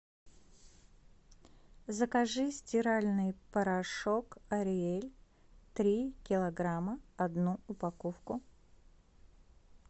закажи стиральный порошок ариэль три килограмма одну упаковку